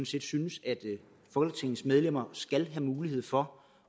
set synes at folketingets medlemmer skal have mulighed for